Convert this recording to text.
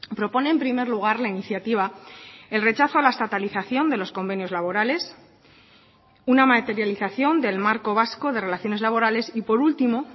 propone en primer lugar la iniciativa el rechazo a la estatalización de los convenios laborales una materialización del marco vasco de relaciones laborales y por último